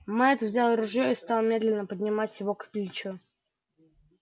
мэтт взял ружьё и стал медленно поднимать его к плечу